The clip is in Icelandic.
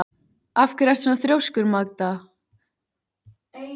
Af hverju ertu svona þrjóskur, Magda?